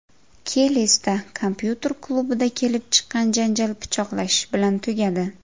Kelesda kompyuter klubida kelib chiqqan janjal pichoqlashish bilan tugadi.